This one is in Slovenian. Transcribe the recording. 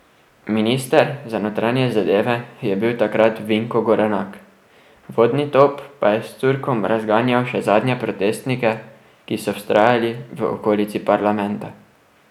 Minister za notranje zadeve je bil takrat Vinko Gorenak, vodni top pa je s curkom razganjal še zadnje protestnike, ki so vztrajali v okolici parlamenta.